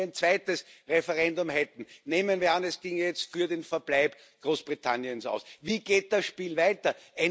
Und selbst wenn wir ein zweites Referendum hätten Nehmen wir an, es ginge jetzt für den Verbleib Großbritanniens aus, wie geht das Spiel weiter?